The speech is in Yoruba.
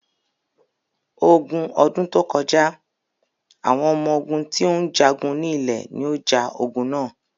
Ogun ọdún tó kọjá, àwọn ọmọ ogún tí ó ń jagun ní ilẹ̀ ní o ja ogun na.